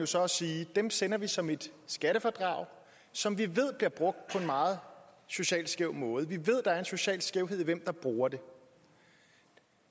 så at sige at dem sender vi som et skattefradrag som vi ved bliver brugt på en meget socialt skæv måde vi ved at en social skævhed i hvem der bruger dem